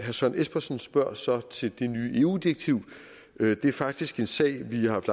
søren espersen spørger så til det nye eu direktiv det er faktisk en sag vi har haft